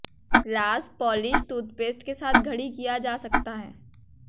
glass polish toothpaste के साथ घड़ी किया जा सकता है